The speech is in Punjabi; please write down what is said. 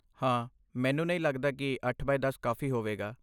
ਹਾਂ, ਮੈਨੂੰ ਨਹੀਂ ਲੱਗਦਾ ਕਿ ਅੱਠ ਬਾਏ ਦਸ ਕਾਫ਼ੀ ਹੋਵੇਗਾ